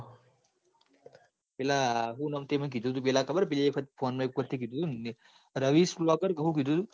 પેલા હું નોમ તે મન કીધું તન પેલા કોન મો એક વસ્તુ કીધું તુંન રવીશબ્લોકર હું કીધું તું